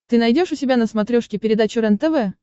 ты найдешь у себя на смотрешке передачу рентв